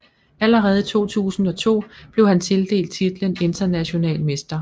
Allerede i 2002 blev han tildelt titlen international mester